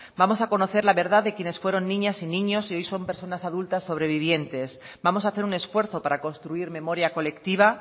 vamos a conocer la verdad de quienes fueron niñas y niños y hoy son personas adultas sobrevivientes vamos a hacer un esfuerzo para construir memoria colectiva